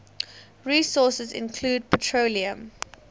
resources include petroleum